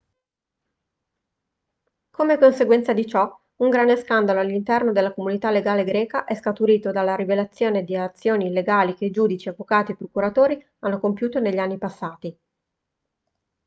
come conseguenza di ciò un grande scandalo all'interno della comunità legale greca è scaturito dalla rivelazione di azioni illegali che giudici avvocati e procuratori hanno compiuto negli anni passati